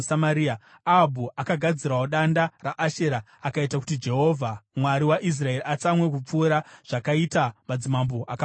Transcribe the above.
Ahabhu akagadzirawo danda raAshera akaita kuti Jehovha, Mwari waIsraeri, atsamwe kupfuura zvakaita madzimambo akamutangira.